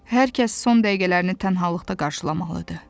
Hər kəs son dəqiqələrini tənhalıqda qarşılamalıdır.